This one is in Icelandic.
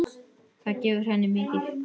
Það gefur henni mikið.